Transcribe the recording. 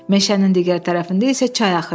Meşənin digər tərəfində isə çay axırdı.